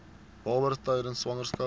babas tydens swangerskap